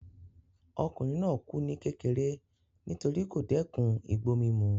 Ọkùnrin náà kù ní kékeré nítorí kò dẹ́ẹ̀kun igbó mímu